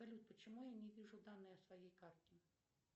салют почему я не вижу данные о своей карте